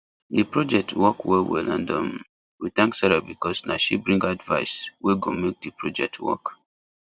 the project work well well and um we thank sarah because na she bring advice wey go make the project work